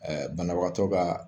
Ɛɛ banawatɔ ka